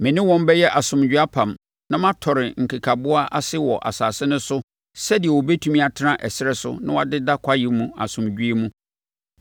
“ ‘Me ne wɔn bɛyɛ asomdwoeɛ apam na matɔre nkekaboa ase wɔ asase no so sɛdeɛ wɔbɛtumi atena ɛserɛ so na wɔadeda kwaeɛ mu asomdwoeɛ mu.